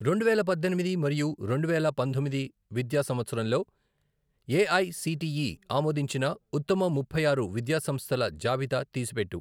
రెండువేల పద్దెనిమిది మరియు రెండు వేల పంతొమ్మిది విద్య సంవత్సరంలోఏఐసిటిఈ ఆమోదించిన ఉత్తమ ముప్పై ఆరు విద్యా సంస్థల జాబితా తీసిపెట్టు.